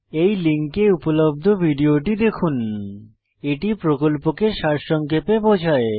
এই লিঙ্কে উপলব্ধ ভিডিওটি দেখুন httpspoken tutorialorg What a Spoken Tutorial এটি প্রকল্পকে সারসংক্ষেপে বোঝায়